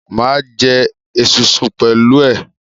Mo ma jẹ esunsun pẹ̀lú ẹ.